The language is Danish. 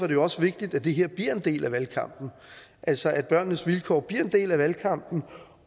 jo også vigtigt at det her bliver en del af valgkampen altså at børnenes vilkår bliver en del af valgkampen